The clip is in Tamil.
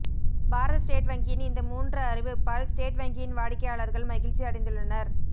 பாரத ஸ்டேட் வங்கியின் இந்த மூன்று அறிவிப்பால் ஸ்டேட் வங்கியின் வாடிக்கையாளர்கள் மகிழ்ச்சி அடைந்துள்ளனர்